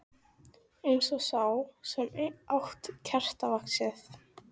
Eins og sá sem át kertavaxið.